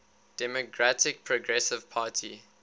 democratic progressive party